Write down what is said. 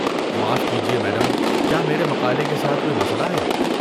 معاف کیجیے، میڈم، کیا میرے مقالے کے ساتھ کوئی مسئلہ ہے؟